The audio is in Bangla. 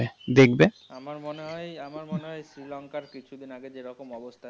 আমার মনে হয়~ আমার মনে হয় শ্রীলংকার কিছুদিন আগে যেরকম অবস্থা।